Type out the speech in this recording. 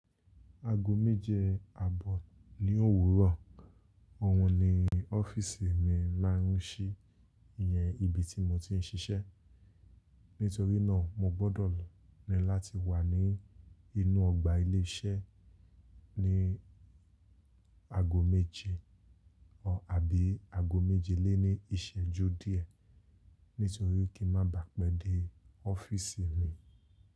Aago méje àbọ̀ ni òwúrọ̀, òun ni ọ́fíísì mi máa ń ṣí, ìyẹn ibi tí mo ti ń ṣiṣẹ́. Nítorí náà mo gbọ́dọ̀ ní láti wà ní inú ọgbà ilé iṣẹ́ ní aago méje àbí aago méjelélẹ́ní ìṣẹ́jú díẹ̀. Nítorí kí ń má bàá pẹ́ dé ọ́fíísì mi.